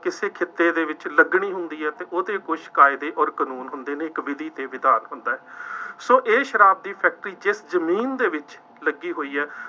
ਕਿਸੇ ਖਿੱਤੇ ਦੇ ਵਿੱਚ ਲੱਗਣੀ ਹੁੰਦੀ ਹੈ ਤਾਂ ਉਹਦੇ ਕੁੱਛ ਕਾਇਦੇ ਅੋਰ ਕਾਨੂੰਨ ਹੁੰਦੇ ਨੇ, ਇੱਕ ਵਿਧੀ ਅਤੇ ਵਿਧਾਨ ਹੁੰਦਾ ਹੈ। ਸੋ ਇਹ ਸ਼ਰਾਬ ਦੀ ਫੈਕਟਰੀ ਜਿਸ ਜ਼ਮੀਨ ਦੇ ਵਿੱਚ ਲੱਗੀ ਹੋਈ ਹੈ,